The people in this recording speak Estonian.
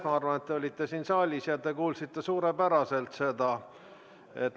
Ma arvan, et te olite ise siin saalis ja kuulsite suurepäraselt.